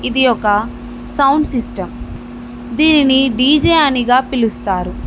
ఇది ఒక sound system దీనిని డీజే అనిగా పిలుస్తారు.